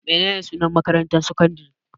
Menene sunan makarantar sakandare?